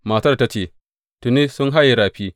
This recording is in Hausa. Matar ta ce, Tuni, sun haye rafi.